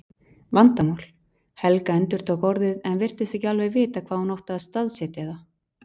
Vandamál. Helga endurtók orðið en virtist ekki alveg vita hvar hún átti að staðsetja það.